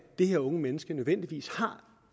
det her unge menneske nødvendigvis har